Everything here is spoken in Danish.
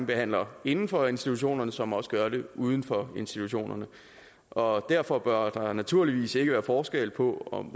behandler inden for institutionerne som også gør det uden for institutionerne og derfor bør der naturligvis ikke være forskel på om